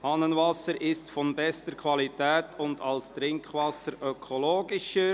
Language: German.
«Hahnenwasser ist von bester Qualität und als Trinkwasser ökologischer».